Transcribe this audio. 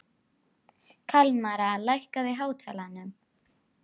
Kalmara, lækkaðu í hátalaranum.